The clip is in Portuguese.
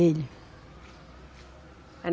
Ele.